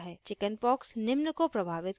chickenpox निम्न को प्रभावित कर सकता है